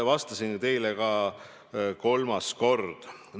Ütlesin seda nüüd kolmandat korda.